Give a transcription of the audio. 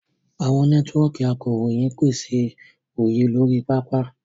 Àwọn nẹ́tíwọ́ọ̀kì akọ̀ròyìn ń pèsè òye lórí pápá.